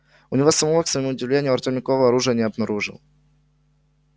у него самого к своему удивлению артём никакого оружия не обнаружил